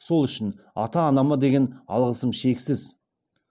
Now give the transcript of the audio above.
сол үшін ата анама деген алғысым шексіз